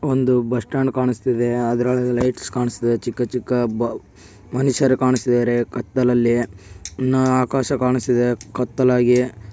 ಒಂದು bus stand ಕಾಣ್ಸ್ತಿದೆ ಅದ್ರಲ್ಲಿ ಲೈಟ್ಸ್ ಕಾಣಿಸ್ತಿದೆ ಚಿಕ್ಕ ಚಿಕ್ಕ ಬ ಮನುಷ್ಯರು ಕಾಣಿಸ್ತಿದೆ ಕತ್ತಲಲ್ಲಿ ಇನ್ನಾ ಆಕಾಶ ಕಾಣಿಸ್ತಿದೆ ಕತ್ತಲಾಗಿ.--